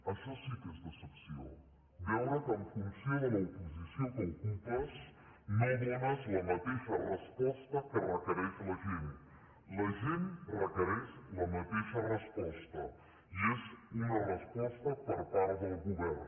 això sí que és decepció veure que en funció de la posició que ocupes no dones la mateixa resposta que requereix la gent la gent requereix la mateixa resposta i és una resposta per part del govern